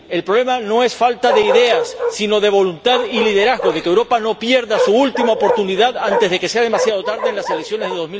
El problema no es falta de ideas, sino de voluntad y liderazgo, de que Europa no pierda su última oportunidad antes de que sea demasiado tarde en las elecciones de